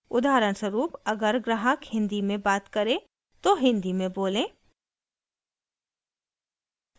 उदाहरणस्वरूप: अगर ग्राहक हिंदी में बात करे तो हिंदी में बोलें